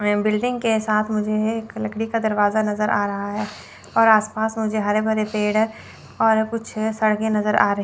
building के साथ मुझे एक लकड़ी का दरवाजा नज़र आ रहा है और आस पास में जो हरे भरे पेड़ हैं और कुछ सड़के नज़र आ रही --